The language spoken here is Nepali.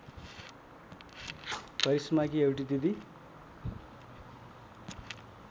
करिश्माकी एउटी दिदी